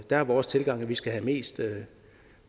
der er vores tilgang at vi skal have mest